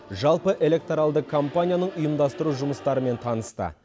жалпы электоралды кампанияның ұйымдастыру жұмыстарымен танысты